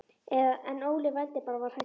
En Óli vældi bara og var hræddur.